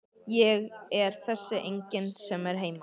Ég er þessi enginn sem er heima.